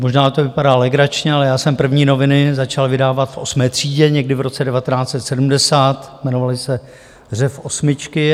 Možná to vypadá legračně, ale já jsem první noviny začal vydávat v osmé třídě, někdy v roce 1970, jmenovaly se Řev osmičky.